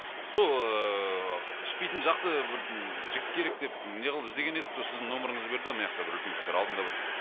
сол ыыы ішпейтін жақсы бір жігіт керек деп неғылып іздеген едік сол сіздің нөміріңізді берді де мынаяқта бір үлкен кісілер алдында бір